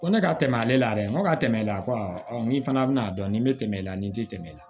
Ko ne ka tɛmɛ ale la dɛ n ko ka tɛmɛ ale ko ni fana bɛna'a dɔn nin bɛ tɛmɛ i la nin ti tɛmɛ